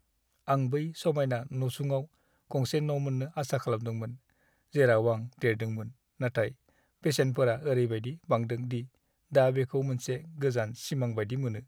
आं बै समायना नसुङाव गंसे न' मोन्नो आसा खालामदोंमोन, जेराव आं देरदोंमोन, नाथाय बेसेनफोरा ओरैबायदि बांदों दि दा बेखौ मोनसे गोजान सिमां बायदि मोनो।